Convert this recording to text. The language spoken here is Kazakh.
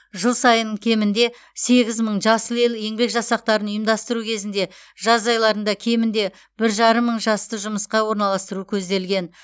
жыл сайын кемінде сегіз мың жасыл ел еңбек жасақтарын ұйымдастыру кезінде жаз айларында кемінде бір жарым мың жасты жұмысқа орналастыру көзделген